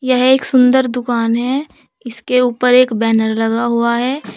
यह एक सुंदर दुकान है इसके ऊपर एक बैनर लगा हुआ है।